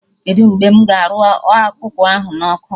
Kedụ mgbe mụ ga arụ ọkụkọ ahụ na ọkụ?